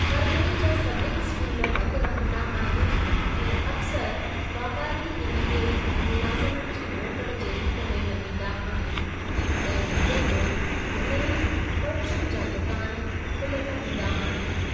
परिगि॒णे जा सभेई स्कूल बंद रंहदा आहिनि ऐं अक्सरु वापारी हिन खे मुलाज़मनि जी मोकल जे रुप में मञींदा आहिनि, तंहिं हूंदे बि घणेई परचूनि जा दुकान खुलियलु हूंदा आहिनि।